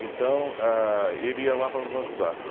Então, ah, ele ia lá para nos ajudar.